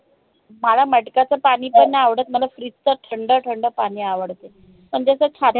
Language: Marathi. मला मटक्याच पाणी अं बी नई आवडत मल मला fridge च थंड थंड पाणी आवडते. पण ते असं छाती